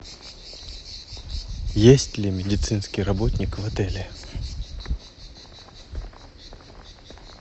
есть ли медицинский работник в отеле